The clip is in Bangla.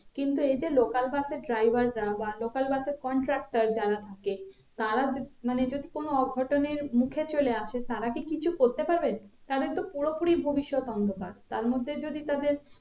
কিন্তু এই যে local bus এর driver রা বা local bus এর conductor যারা থাকে তারা মানে যদি কোনো অঘটনের মুখে চলে আসে তারা কি কিছু করতে পারবে তাদের তো পুরো পুরি ভবিষ্যৎ অন্ধকার তার মধ্যে যদি তাদের